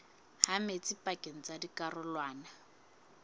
ha metsi pakeng tsa dikarolwana